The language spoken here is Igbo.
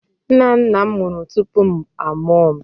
Nna nna m nwụrụ tupu a mụọ m.